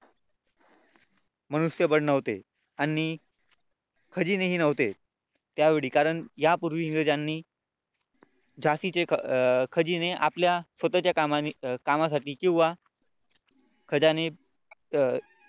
मनुष्यबळ नव्हते आणि खजिनेही नव्हते त्यावेळी कारण यापूर्वी इंग्रजांनी झाशीचे अं खजिने आपल्या स्वतःच्या कामासाठी किंवा खजाने अं